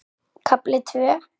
KAFLI TVÖ